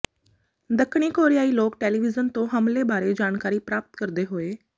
ਦੱਖਣੀ ਕੋਰਿਆਈ ਲੋਕ ਟੈਲੀਵਿਜ਼ਨ ਤੋਂ ਹਮਲੇ ਬਾਰੇ ਜਾਣਕਾਰੀ ਪ੍ਰਾਪਤ ਕਰਦੇ ਹੋਏ